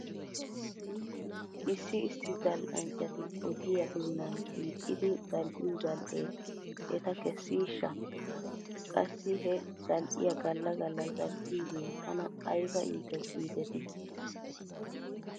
Issi issi zal'anchchati ogiyaa doonan hiixxidi zal'iyoo zal'ee eta kesiishsha? Qassi he zal'iyaa gala gala zal'iyoogee tana ayba iites giidetii?